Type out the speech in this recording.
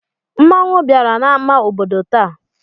Mmanwụ bịara n'amá obodo taa.